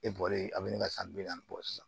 E bɔlen a be ne ka san bi naani bɔ sisan